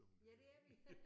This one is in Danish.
Ja det er vi